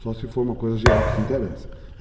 Só se for uma coisa geral que te interessa.